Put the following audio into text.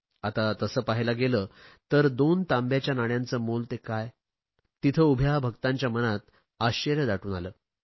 आता तसे पाहायला गेले तर दोन तांब्याच्या नाण्यांचे मोल ते काय तेथे उभ्या भक्तांच्या मनात आश्चर्य दाटून आले